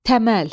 Təməl.